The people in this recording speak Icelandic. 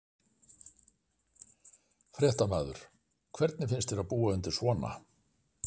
Fréttamaður: Hvernig finnst þér að búa undir svona?